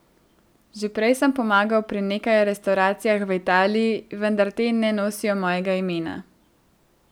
Že prej sem pomagal pri nekaj restavracijah v Italiji, vendar te ne nosijo mojega imena.